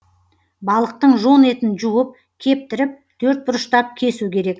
балықтың жон етін жуып кептіріп төртбұрыштап кесу керек